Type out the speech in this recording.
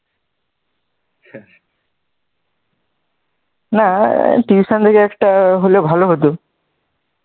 না tuition থেকে একটা হলে ভালো হত,